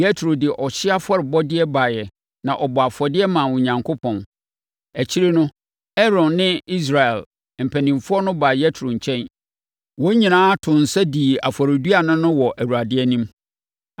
Yetro de ɔhyeɛ afɔrebɔdeɛ baeɛ na ɔbɔɔ afɔdeɛ maa Onyankopɔn. Akyire no, Aaron ne Israel mpanimfoɔ no baa Yetro nkyɛn. Wɔn nyinaa too nsa dii afɔreduane no wɔ Awurade anim.